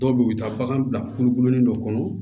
Dɔw bɛ yen u bɛ taa bagan bila kulu dɔ kɔnɔ